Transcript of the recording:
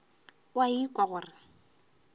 o a ikwa gore o